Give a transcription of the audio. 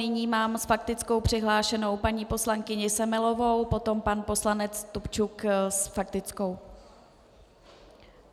Nyní mám s faktickou přihlášenou paní poslankyni Semelovou, potom pan poslanec Stupčuk s faktickou.